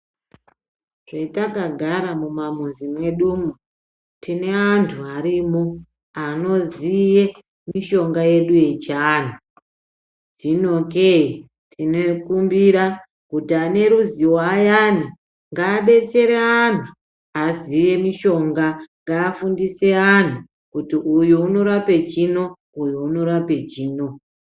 Zvetakagara mumamuzi mwedumo tine antu arimo anoziye mishonga yedu yechiantu. Zvino kee tinekumbira kuti ane ruzivo ayani ngabetsere ana aziye mishonga ngafundise antu kuti uyu unorape chino, uyu unorape chino.